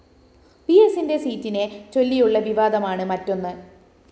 വിഎസിന്റെ സീറ്റിനെ ചൊല്ലിയുള്ള വിവാദമാണ് മറ്റൊന്ന്